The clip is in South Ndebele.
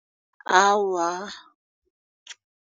Awa.